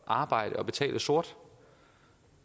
arbejde og betale sort